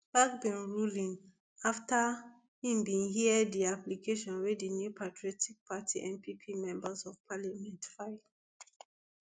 bagbin ruling afta e bin hear di application wey di new patriotic party npp members of parliament file